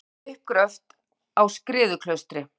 Unnið við uppgröft á Skriðuklaustri.